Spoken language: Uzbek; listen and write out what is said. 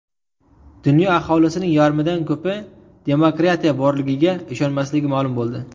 Dunyo aholisining yarmidan ko‘pi demokratiya borligiga ishonmasligi ma’lum bo‘ldi.